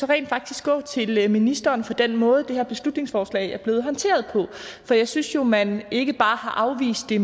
rent faktisk går til ministeren for den måde som det her beslutningsforslag er blevet håndteret på jeg synes jo at man ikke bare har afvist det